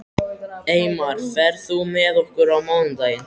Eymar, ferð þú með okkur á mánudaginn?